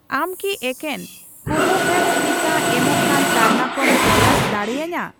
ᱟᱢ ᱠᱤ ᱮᱠᱮᱱ ᱠᱳᱵᱷᱳᱵᱷᱮᱠᱥ ᱴᱤᱠᱟᱹ ᱮᱢᱚᱜ ᱠᱟᱱ ᱛᱟᱞᱢᱟ ᱠᱚᱢ ᱛᱚᱞᱟᱥ ᱫᱟᱲᱤᱭᱟᱹᱧᱟ ?